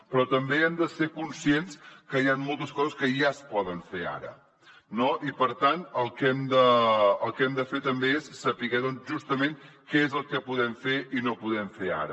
però també hem de ser conscients que hi han moltes coses que ja es poden fer ara no i per tant el que hem de fer també és saber justament què és el que podem fer i no podem fer ara